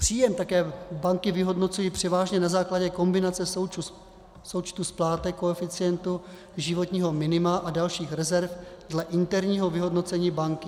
Příjem také banky vyhodnocují převážně na základě kombinace součtu splátek, koeficientu životního minima a dalších rezerv dle interního vyhodnocení banky.